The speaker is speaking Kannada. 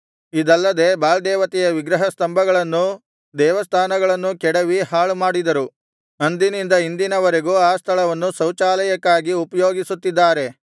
ಇದಲ್ಲದೆ ಬಾಳ್ ದೇವತೆಯ ವಿಗ್ರಹ ಸ್ತಂಭಗಳನ್ನೂ ದೇವಸ್ಥಾನಗಳನ್ನೂ ಕೆಡವಿ ಹಾಳುಮಾಡಿದರು ಅಂದಿನಿಂದ ಇಂದಿನವರೆಗೂ ಆ ಸ್ಥಳವನ್ನು ಶೌಚಾಲಯಕ್ಕಾಗಿ ಉಪಯೋಗಿಸುತ್ತಿದ್ದಾರೆ